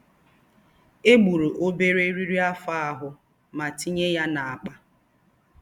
Egburu obere eriri afọ ahụ ma tinye ya na akpa.